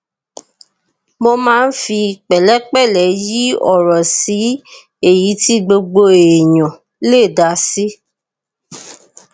mo máa ń fi pẹlẹpẹlẹ yí ọrọ sí èyí tí gbogbo èèyàn lè dá sí